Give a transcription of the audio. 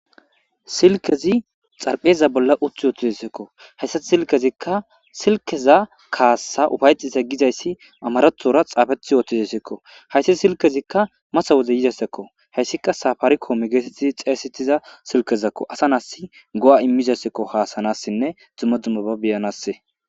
Silkezi xarpheza bolla uth yoothizesekko hayssati silkezikka silkeza kaassa ufayexisa gizayssi amarethora xaafeti yoothizasekko hayssa silkezikka masa woze yizesekko hayssika safarikoome geetettizi xeesetiza silkezakko asa naas go'a immizasekko haasanassinne dzuma dzummaba beyanasse.